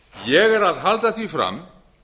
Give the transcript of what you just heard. ég er að halda því fram